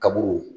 Kaburu